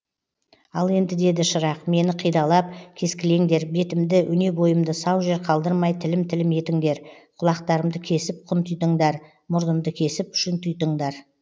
ал енді деді шырақ мені қидалап кескілеңдер бетімді өне бойымды сау жер қалдырмай тілім тілім етіңдер құлақтарымды кесіп құнтитыңдар мұрнымды кесіп шұнтитыңдар